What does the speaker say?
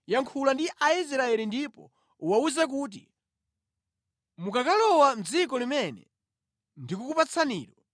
“Yankhula ndi Aisraeli ndipo uwawuze kuti, ‘Mukakalowa mʼdziko limene ndikukupatsanilo,